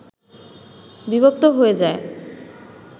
বিভক্ত হয়ে যায়